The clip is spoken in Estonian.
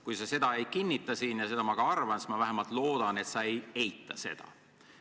Kui sa seda ei kinnita – ja ma arvan, et sa seda ei tee –, siis ma vähemalt loodan, et sa ei eita seda.